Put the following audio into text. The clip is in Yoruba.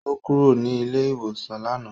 Ó kúrò ní ilé-ìwòsàn lánàá.